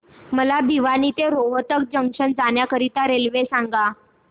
मला भिवानी ते रोहतक जंक्शन जाण्या करीता रेल्वे सांगा